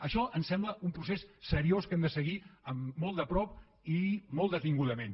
això ens sembla un procés seriós que hem de seguir molt de prop i molt detingudament